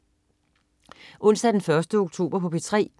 Onsdag den 1. oktober - P3: